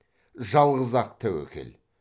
жалғыз ақ тәуекел